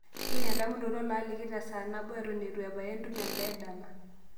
tipika endamunoto laaliki tesaa nabo eton eitu ebaya entumo e daa e dama